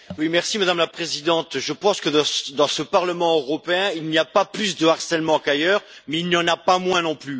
Madame la Présidente, je pense que, dans ce Parlement européen, il n'y a pas plus de harcèlement qu'ailleurs, mais il n'y en a pas moins non plus.